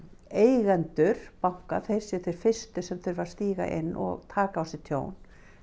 eigendur banka séu þeir fyrstu sem þurfa að stíga inn og taka á sig tjón